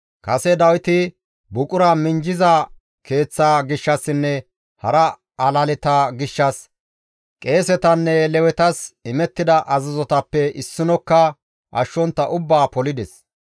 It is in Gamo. Kase Dawiti buqura minjjiza keeththa gishshassinne hara alaleta gishshas qeesetanne Lewetas imettida azazotappe issinokka ashshontta ubbaa polides.